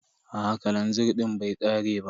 Aa kalanzir din bai ƙare ba.